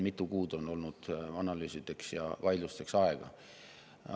Mitu kuud on olnud analüüsideks ja vaidlusteks aega.